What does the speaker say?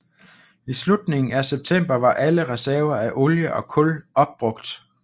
I slutningen af september var alle reserver af olie og kul opbrugt